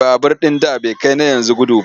Babur ɗin da bai kai na yanzu gudu ba.